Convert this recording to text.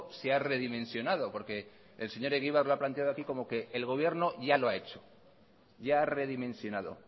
se ha redimensionado porque el señor egibar lo ha planteado aquí como que el gobierno ya lo ha hecho ya ha redimensionado